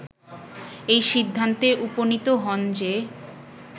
এই সিদ্ধান্তে উপনীত হন যে